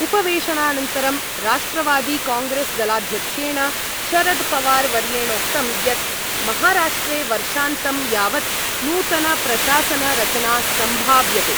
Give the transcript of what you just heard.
उपवेशनानन्तरं राष्ट्रवादिकांग्रेस्दलाध्यक्षेण शरदपवारवर्येणोक्तं यत् महाराष्ट्रे वर्षान्तं यावत् नूतनप्रशासनरचना सम्भाव्यते।